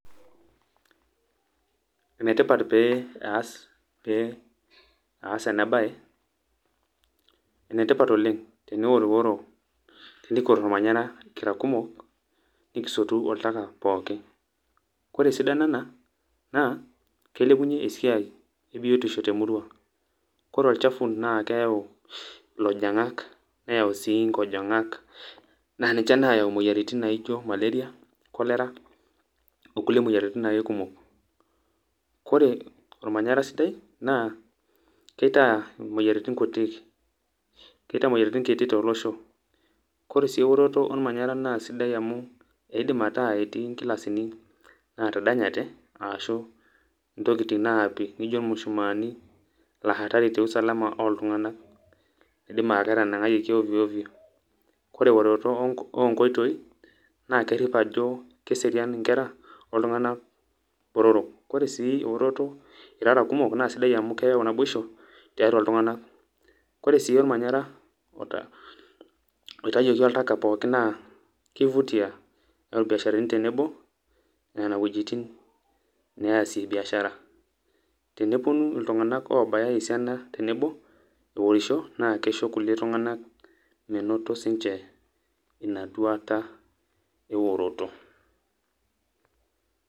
Enetipat pee aas, pee aas enabae, enetipat oleng' teniworuworo, tenikior ormanyara kira kumok, nikisotu oltaka pookin. Kore esidano ena naa, kilepunye esiai ebiotisho temurua. Kore olchafu naa keeu ilojang'ak, neeu si inkojong'ak, na ninche nayau moyiaritin naijo maleria, cholera ,onkulie moyiaritin ake kumok. Kore ormanyara sidai, naa kitaa imoyiaritin kutik. Kitaa moyiaritin kutik tolosho. Kore si eoroto ormanyara na sidai amu, eidim ataa etii nkilasini natadanyate, ashu ntokiting naapi nijo mushumaani, na hatari te usalama oltung'anak. Idim aa ketanang'ayioki ovyo ovyo. Kore eoroto onkoitoi, na kerip ajo keserian inkera, oltung'anak botorok. Kore si eoroto irara kumok, na sidai amu keyau naboisho, tiatua iltung'anak. Kore si ormanyara oitayioki oltaka pookin naa, ki vutia. Keeu irbiasharani tenebo, nena wuejiting' neasie biashara. Teneponu iltung'anak obaya esiana tenebo eorisho, na kisho irkulie tung'anak menoto sinche inaduata eoroto.